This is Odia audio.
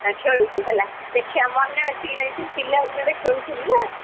ଟିକେ ଖେଳୁଛୁ ହେଲା ଦେଖିଆ ମନେ ଅଛି କି ନାହିଁ ପିଲାଦିନରେ ଖେଳୁଥିଲୁ ନା,